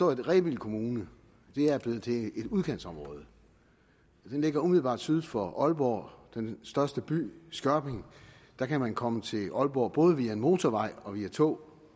at rebild kommune er blevet til et udkantsområde den ligger umiddelbart syd for aalborg og den største by skørping kan man komme til aalborg både via motorvej og med tog